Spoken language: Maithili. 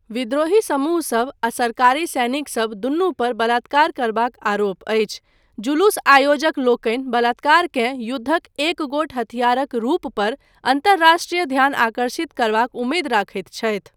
विद्रोही समूहसभ आ सरकारी सैनिकसभ दुनू पर बलात्कार करबाक आरोप अछि, जुलूस आयोजकलोकनि बलात्कारकेँ युद्धक एक गोट हथियारक रूप पर अन्तरराष्ट्रीय ध्यान आकर्षित करबाक उमेद रखैत छथि।